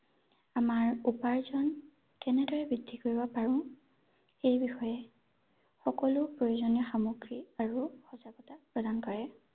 আমাৰ উপাৰ্জন কেনেদৰে বৃদ্ধি কৰিব পাৰো এই বিষয়ে সকলো প্ৰয়োজনীয় সামগ্ৰী আৰু সজাগতা প্ৰদান কৰে ৷